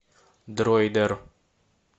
дроидер